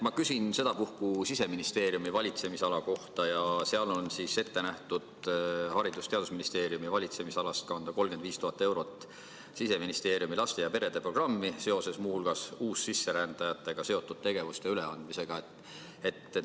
Ma küsin sedapuhku Siseministeeriumi valitsemisala kohta: seal on ette nähtud kanda Haridus- ja Teadusministeeriumi valitsemisalast 35 000 eurot Siseministeeriumi laste ja perede programmi seoses muu hulgas uussisserändajatega seotud tegevuste üleandmisega.